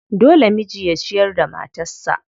Dole miji ya ciyar da matarsa.